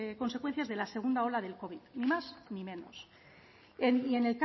consecuencias de la segunda ola del covid ni más ni menos y en el